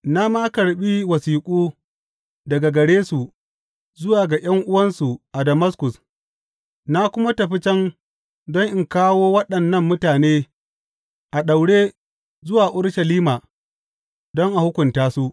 Na ma karɓi wasiƙu daga gare su zuwa ga ’yan’uwansu a Damaskus, na kuma tafi can don in kawo waɗannan mutane a daure zuwa Urushalima don a hukunta su.